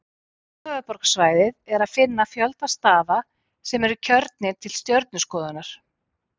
Í kringum höfuðborgarsvæðið er að finna fjölda staða sem eru kjörnir til stjörnuskoðunar.